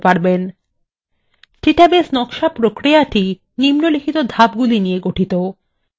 database নকশা প্রক্রিয়াটি নিম্নলিখিত ধাপগুলি নিয়ে গঠিত